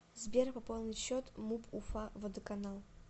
сбер пополнить счет муп уфа водоканал